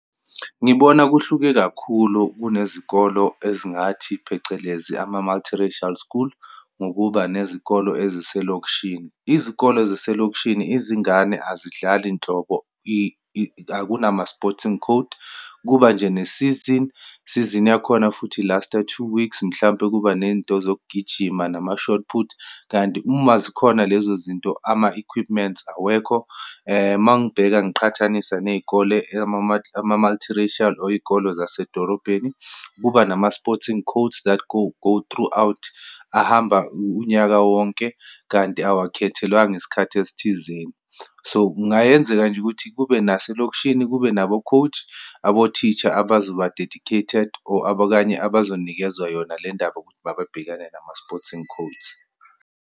Ngibona kuhluke kakhulu kunezikolo ezingathi, phecelezi ama-multiracial school, ngokuba nezikolo eziselokishini. Izikolo zaselokishini, izingane azidlali nhlobo akunama-sporting code. Kuba nje nesizini, isizini yakhona futhi i-last-a two weeks, mhlampe kuba nento zokugijima nama-shotput. Kanti, uma zikhona lezo zinto, ama-equipments awekho, uma ngibheka, ngiqhathanisa neyikole ama-multiracial, or iyikolo zasedorobheni kuba nama-sporting codes that go thoughout, ahamba unyaka wonke, kanti awakhethelwanga isikhathi esithizeni. So, kungayenzeka nje ukuthi kube naselokishini, kube nabo-coach, abotisha abazoba-dedicated or abokanye abazokunikezwa yona lendaba ukuthi mabebhekane nama-sporting codes.